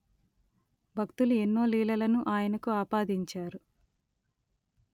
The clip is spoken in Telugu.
భక్తులు ఎన్నో లీలలను ఆయనకు ఆపాదించారు